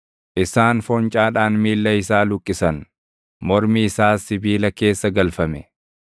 Isaan foncaadhaan miilla isaa luqqisan; mormi isaas sibiila keessa galfame;